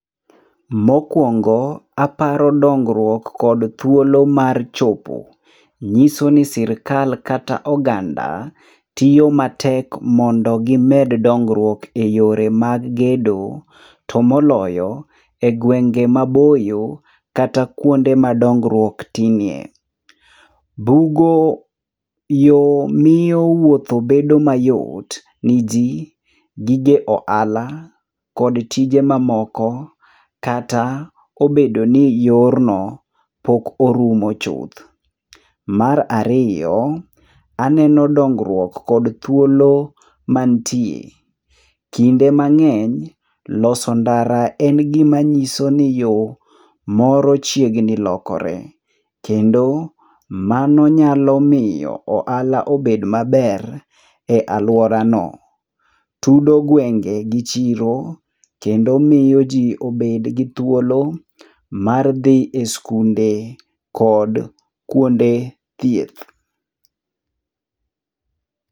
Mokuongo, aparo dongruok kod thuolo mar chopo. Nyiso ni sirkal kata oganda, tiyo matek mondo gimed dongruok eyore mag gedo, to moloyo, e gwenge maboyo kata kuonde ma dongruok tinie. Bugo yo miyo wuotho bedo mayot niji, gige ohala kod tije mamoko kata obedo ni yorno pok orumo chuth. Mar ariyo, aneno dongruok kod thuolo mantie. Kinde mang'eny, loso ndara en gima nyiso ni yo moro chiegni lokore. Kendo mano nyalo miyo ohala obed maber e aluorano. Tudo gwenge gi chiro kendo miyo ji obedgi thuolo mar dhi e skunde kod kuonde thieth.